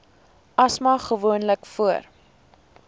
asma gewoonlik voor